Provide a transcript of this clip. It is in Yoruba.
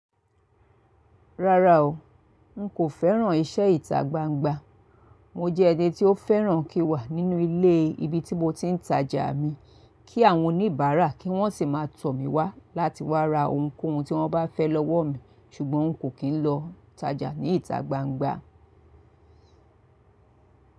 Rárá o, nkò fẹ́ràn iṣẹ́ ìta gbangba. Mo jẹ́ ẹni tí ó fẹ́ràn kí n wà nínú ilé ibi tí mo ti ń tajà mi kí àwọn oníbàárà kí wọ́n sì má a tọ̀ mí wá láti wá ra ohunkóhun tí wọ́n bá fẹ́ lọ́wọ́ mi ṣùgbọ́n nkò kí ń lọ tajà ní ìta gbangba.